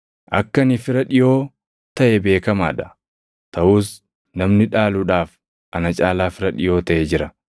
Akka ani fira dhiʼoo taʼe beekamaa dha; taʼus namni dhaaluudhaaf ana caalaa fira dhiʼoo taʼe jira.